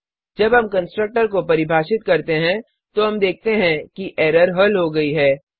जब हम कंस्ट्रक्टर को परिभाषित करते हैं तो हम देखते हैं कि एरर हल हो गयी है